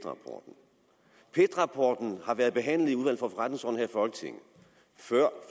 rapporten har været behandlet i i folketinget før